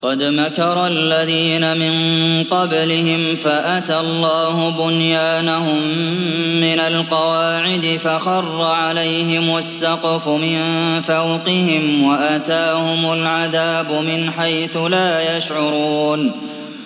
قَدْ مَكَرَ الَّذِينَ مِن قَبْلِهِمْ فَأَتَى اللَّهُ بُنْيَانَهُم مِّنَ الْقَوَاعِدِ فَخَرَّ عَلَيْهِمُ السَّقْفُ مِن فَوْقِهِمْ وَأَتَاهُمُ الْعَذَابُ مِنْ حَيْثُ لَا يَشْعُرُونَ